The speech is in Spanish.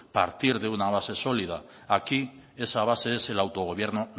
partir de una base sólida aquí esa base es el autogobierno